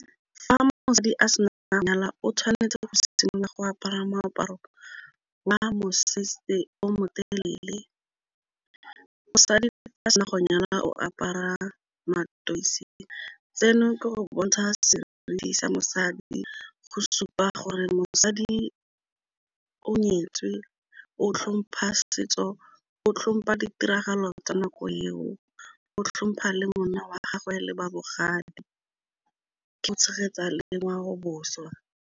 Fa mosadi a sena nna nyala o tshwanetse go simolola go apara moaparo wa mosese o motelele, mosadi le fa a sena go nyala o apara matiseng tseno ke go bontsha seriti sa mosadi, go supa gore mosadi o nyetswe o tlhompha setso, o tlhompa ditiragalo tsa nako eo, o tlhompha le monna wa gagwe le ba bogadi ke go tshegetsa le ngwao boswa.